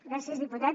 gràcies diputat